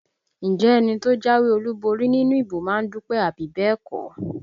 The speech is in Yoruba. Ǹjẹ́ ẹni tó jáwé olúborí nínú ìbò má ń dúpẹ́ àbí bẹ́ẹ̀ kọ́?